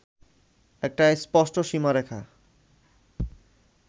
একটা স্পষ্ট সীমারেখা